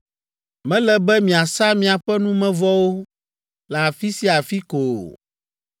“Mele be miasa miaƒe numevɔwo le afi sia afi ko o;